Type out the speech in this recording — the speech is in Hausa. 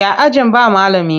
Ya ajin ba malami?